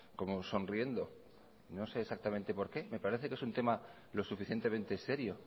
como sonriendo no sé exactamente por qué me parece que es un tema lo suficientemente serio